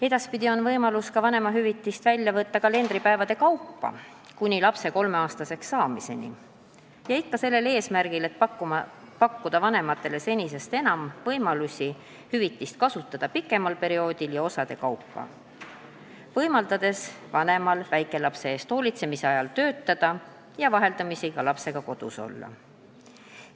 Edaspidi on võimalus kuni lapse kolmeaastaseks saamiseni vanemahüvitist välja võtta ka kalendripäevade kaupa, ikka sellel eesmärgil, et pakkuda vanematele senisest enam võimalusi kasutada hüvitist pikema perioodi jooksul ja osade kaupa, võimaldades vanemal väikelapse eest hoolitsemise ajal vaheldumisi töötada ja ka lapsega kodus olla.